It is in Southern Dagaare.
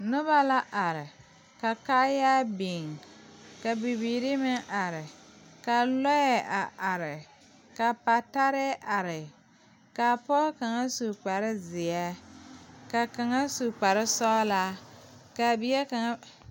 Nobɔ la are ka kaayaa biŋ ka bibiire meŋ are kaa lɔɛ a are ka patarɛɛ are kaa pɔgɔ kaŋa su kparezeɛ ka kaŋa su kparesɔglaa kaa bie kaŋa.